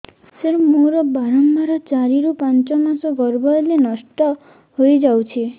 ସାର ମୋର ବାରମ୍ବାର ଚାରି ରୁ ପାଞ୍ଚ ମାସ ଗର୍ଭ ହେଲେ ନଷ୍ଟ ହଇଯାଉଛି